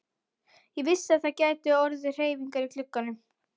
Ég vissi að það gætu orðið hreyfingar í glugganum.